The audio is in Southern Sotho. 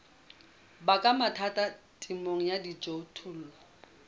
baka mathata temong ya dijothollo